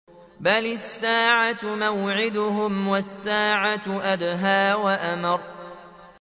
بَلِ السَّاعَةُ مَوْعِدُهُمْ وَالسَّاعَةُ أَدْهَىٰ وَأَمَرُّ